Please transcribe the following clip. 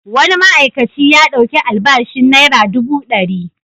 Wani ma'aikaci ya ɗauki albashin naira dubu ɗari.